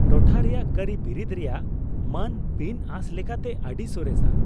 ᱴᱚᱴᱷᱟ ᱨᱮᱭᱟᱜ ᱠᱟᱹᱨᱤᱵᱤᱨᱤᱫ ᱨᱮᱭᱟᱜ ᱢᱟᱱ ᱵᱤᱱᱼᱟᱸᱥ ᱞᱮᱠᱟᱛᱮ ᱟᱹᱰᱤ ᱥᱚᱨᱮᱥᱟ ᱾